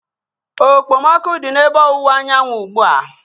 Okpomọkụ dị n'ebe ọwụwa anyanwụ ugbu a